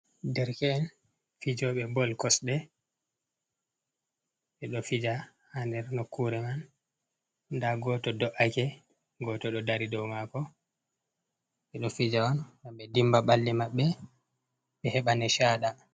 Derke’en fijoɓe bol kosɗe ɓe ɗo fija ha nder nokkure man nda goto do’ake, goto ɗo dari dow mako ɓe ɗo fija on ngam be dimba ɓalli maɓɓe ɓe heɓa nichaɗa.